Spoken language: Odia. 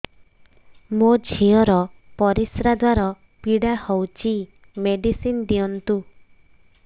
ମୋ ଝିଅ ର ପରିସ୍ରା ଦ୍ଵାର ପୀଡା ହଉଚି ମେଡିସିନ ଦିଅନ୍ତୁ